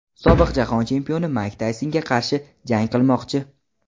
sobiq jahon chempioni Mayk Taysonga qarshi jang qilmoqchi.